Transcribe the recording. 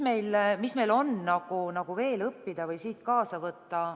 Mida on meil veel õppida või siit kaasa võtta?